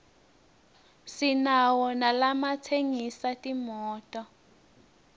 sinawo nalatsengisa timoto